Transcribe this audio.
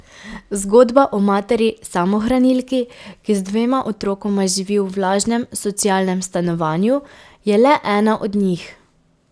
Zgodba o materi samohranilki, ki z dvema otrokoma živi v vlažnem socialnem stanovanju, je le ena od njih.